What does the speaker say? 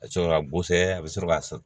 A sɔrɔ ka a bɛ sɔrɔ ka